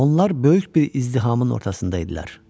Onlar böyük bir izdihamın ortasında idilər.